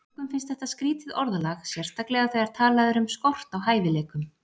Mörgum finnst þetta skrýtið orðalag, sérstaklega þegar talað er um skort á hæfileikum.